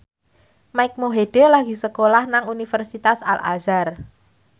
Mike Mohede lagi sekolah nang Universitas Al Azhar